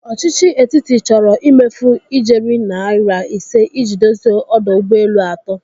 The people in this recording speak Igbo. Ọchichi etiti chọrọ ịmefu ijeri naira ise i ji dozie ọdọ ụgbọelu atọ.